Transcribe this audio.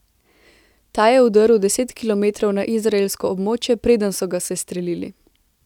Ta je vdrl deset kilometrov na izraelsko območje, preden so ga sestrelili.